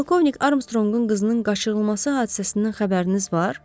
Polkovnik Armstronqun qızının qaçırılması hadisəsindən xəbəriniz var?